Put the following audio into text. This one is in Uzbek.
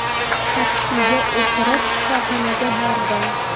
Taksiga o‘tirib shifoxonaga bordim.